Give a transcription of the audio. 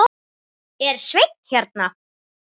Er Sveinn hérna?